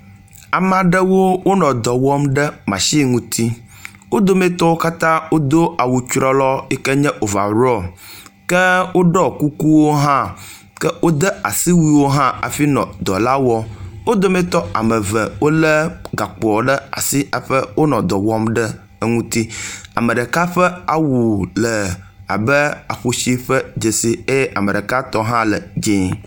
Amaɖewo wonɔ dɔwɔm ɖe machi ŋuti wo dometɔ katã wodó awu trɔlɔɔ yike nye ovarɔ ke woɖɔ kukuwo hã ke wóde asiwuiwo hafi nɔ dɔlawɔm, wó dometɔ ameve gakpoa ɖe asi haƒɛ wonɔ dɔwɔm ɖe eŋuti ameɖeka ƒe awu le abe aƒusi ƒe dzesi eye ameɖeka hã tɔ le dzĩe